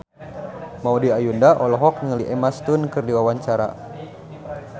Maudy Ayunda olohok ningali Emma Stone keur diwawancara